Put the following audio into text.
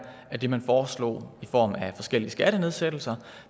af det man foreslog i form af forskellige skattenedsættelser